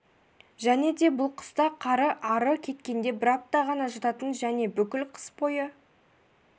және де бұл қыста қары ары кеткенде бір апта ғана жататын және бүкіл қыс бойы